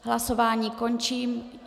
Hlasování končím.